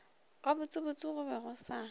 gabotsebotse go be go sa